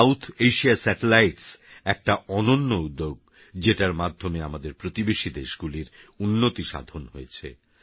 সাউথএশিয়াsatellitesএকটাঅনন্যউদ্যোগযেটারমাধ্যমেআমাদেরপ্রতিবেশীদেশগুলিরউন্নতিসাধনহয়েছে